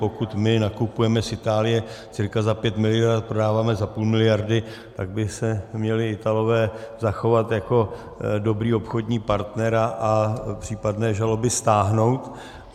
Pokud my nakupujeme z Itálie cirka za pět miliard a prodáváme za půl miliardy, tak by se měli Italové zachovat jako dobrý obchodní partner a případné žaloby stáhnout.